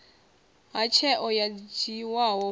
ha tsheo yo dzhiwaho hu